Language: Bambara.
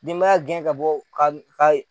Denbaya gɛn ka bɔ ka ka ye